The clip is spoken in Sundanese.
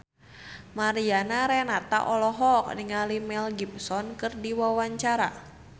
Mariana Renata olohok ningali Mel Gibson keur diwawancara